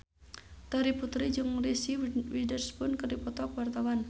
Terry Putri jeung Reese Witherspoon keur dipoto ku wartawan